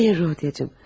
Xeyr, Rodya.